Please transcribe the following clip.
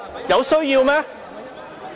有需要嗎？